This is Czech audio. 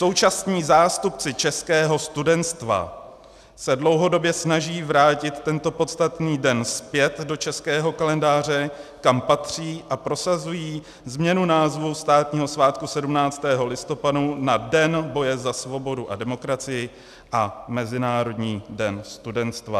Současní zástupci českého studenstva se dlouhodobě snaží vrátit tento podstatný den zpět do českého kalendáře, kam patří a prosazují změnu názvu státního svátku 17. listopadu na Den boje za svobodu a demokracii a Mezinárodní den studenstva.